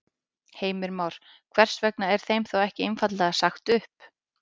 Heimir Már: Hvers vegna er þeim þá ekki einfaldlega sagt upp?